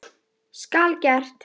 Hvað hefur lífið kennt þér?